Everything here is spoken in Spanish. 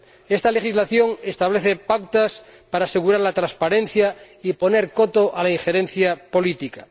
Esta legislación establece pautas para asegurar la transparencia y poner coto a la injerencia política.